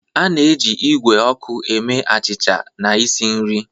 A na-eji igwe ọkụ eme achịcha na isi nri.